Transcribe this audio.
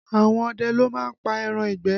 Àwọn ọdẹ ló má ń pa ẹran ìgbẹ́